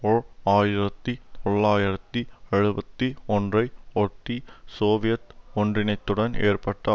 ஓர் ஆயிரத்தி தொள்ளாயிரத்தி எழுபத்தி ஒன்றுஐ ஒட்டி சோவியத் ஒன்றினத்துடன் ஏற்பட்ட